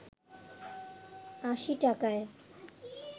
৮০ টাকায়